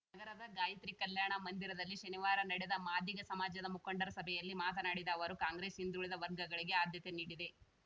ನಗರದ ಗಾಯತ್ರಿ ಕಲ್ಯಾಣ ಮಂದಿರದಲ್ಲಿ ಶನಿವಾರ ನಡೆದ ಮಾದಿಗ ಸಮಾಜದ ಮುಖಂಡರ ಸಭೆಯಲ್ಲಿ ಮಾತನಾಡಿದ ಅವರು ಕಾಂಗ್ರೆಸ್‌ ಹಿಂದುಳಿದ ವರ್ಗಗಳಿಗೆ ಆದ್ಯತೆ ನೀಡಿದೆ